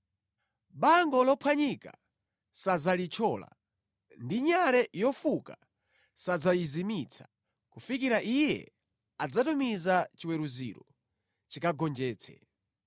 Bango lophwanyika sadzalithyola, ndi nyale yofuka sadzayizimitsa, kufikira Iye adzatumiza chiweruziro chikagonjetse.